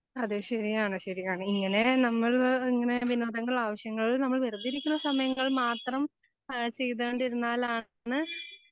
അതേ ശരിയാണ് ശരിയാണ് ഇങ്ങനെ നമ്മള് ഇങ്ങനെ വിനോദങ്ങൾ ആവശ്യങ്ങൾ നമ്മൾ വെറുതെയിരിക്കുന്ന സമയങ്ങളിൽ മാത്രം ഏഹ് ചെയ്തുകൊണ്ടിരുന്നാലാണ്